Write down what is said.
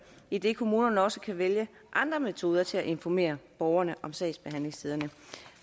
idet kommunerne også kan vælge andre metoder til at informere borgerne om sagsbehandlingstiderne